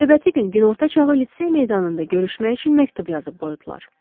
Növbəti gün günorta çağı litsey meydanında görüşmək üçün məktub yazıb qoydular.